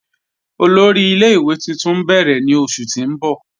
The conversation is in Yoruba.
Ọlọ́rì ilẹ̀-ìwé tuntun n bẹ̀rẹ̀ ni oṣù ti n bọ̀.